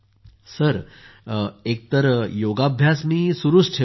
sir एकतर मी योगाभ्यास बंद केलेला नाही